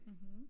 Mhm